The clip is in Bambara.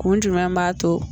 Kun jumɛn b'a to